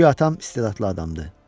Güya atam istedadlı adamdır.